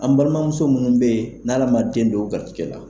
An balimamuso munnu be yen n'Ala ma den don o garizigɛ la